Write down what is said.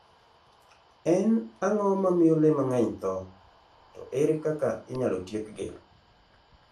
En ang'o mamiyo le mang'eny tho, to ere kaka inyalo tiekgi?